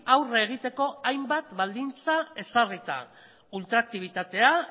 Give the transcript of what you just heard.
aurre egiteko hainbat baldintza ezarrita ultraaktibitatea